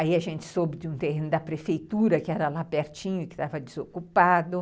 Aí a gente soube de um terreno da prefeitura, que era lá pertinho, que estava desocupado.